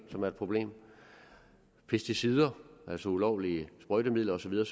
som er et problem og pesticider altså ulovlige sprøjtemidler og så videre